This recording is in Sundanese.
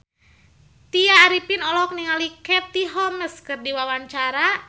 Tya Arifin olohok ningali Katie Holmes keur diwawancara